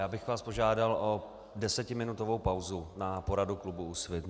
Já bych vás požádal o desetiminutovou pauzu na poradu klubu Úsvit.